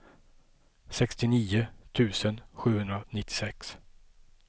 sextionio tusen sjuhundranittiosex